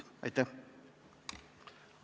Aitäh!